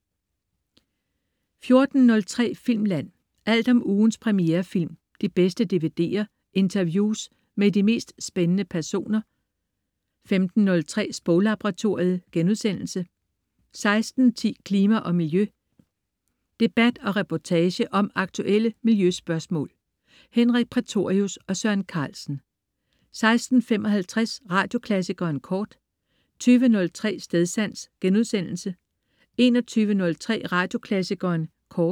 14.03 Filmland. Alt om ugens premierefilm, de bedste DVD'er, interviews med de mest spændende personer 15.03 Sproglaboratoriet* 16.10 Klima og Miljø. Debat og reportage om aktuelle miljøspørgsmål. Henrik Prætorius og Søren Carlsen 16.55 Radioklassikeren Kort 20.03 Stedsans* 21.03 Radioklassikeren Kort*